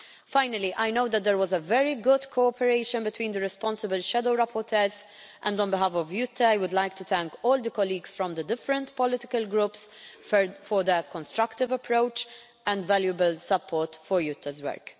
Finally, I know that there was very good cooperation between the responsible shadow rapporteurs, and on behalf of Jytte, I would like to thank all the colleagues from the different political groups for their constructive approach and valuable support for Jytte's